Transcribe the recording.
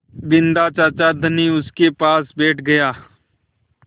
बिन्दा चाचा धनी उनके पास बैठ गया